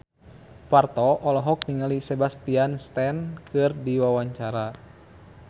Parto olohok ningali Sebastian Stan keur diwawancara